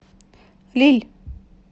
лилль